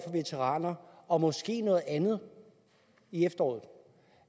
veteraner og måske noget andet i efteråret